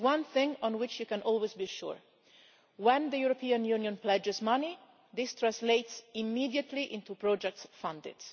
There is one thing on which you can always be sure when the European Union pledges money, this translates immediately into projects funded.